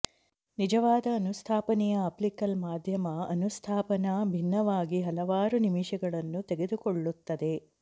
ನಿಜವಾದ ಅನುಸ್ಥಾಪನೆಯ ಆಪ್ಟಿಕಲ್ ಮಾಧ್ಯಮ ಅನುಸ್ಥಾಪನಾ ಭಿನ್ನವಾಗಿ ಹಲವಾರು ನಿಮಿಷಗಳನ್ನು ತೆಗೆದುಕೊಳ್ಳುತ್ತದೆ